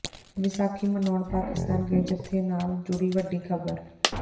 ਵਿਸਾਖੀ ਮਨਾਉਣ ਪਾਕਿਸਤਾਨ ਗਏ ਜੱਥੇ ਨਾਲ ਜੁੜੀ ਵੱਡੀ ਖ਼ਬਰ